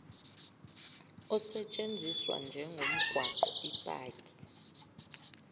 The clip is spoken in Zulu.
osetshenziswa njengomgwaqo ipaki